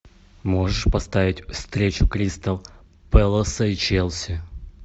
можешь поставить встречу кристал пэласа и челси